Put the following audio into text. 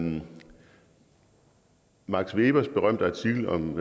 det max webers berømte artikel om